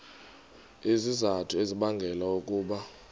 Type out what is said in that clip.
izizathu ezibangela ukuba